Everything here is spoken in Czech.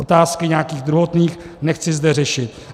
Otázky nějakých druhotných nechci zde řešit.